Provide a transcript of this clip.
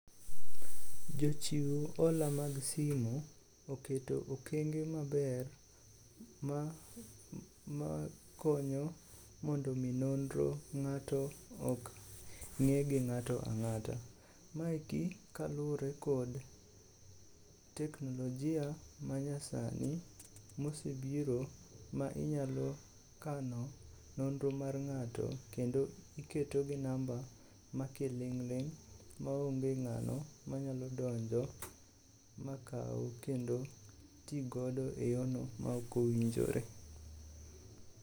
Jochiw hola mag simu oketo okenge maber ma konyo mondo omi nonro ng'ato ok ng'e gi ng'ato ang'ata. Maeki kaluwore kod teknolojia manyasani mosebiro ma inyalo kano nonro mar ng'ato kendo iketo gi namba ma kiling'ling' maonge ng'ano manyalo donjo makaw kendo tigodo e yono maok owinjore.